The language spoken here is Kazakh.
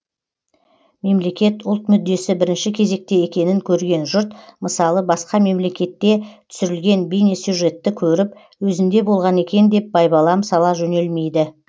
мемлекет ұлт мүддесі бірінші кезекте екенін көрген жұрт мысалы басқа мемлекетте түсірілген бейнесюжетті көріп өзінде болған екен деп байбалам сала жөнелмейді